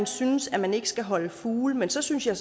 synes at man ikke skal holde fugle men så synes jeg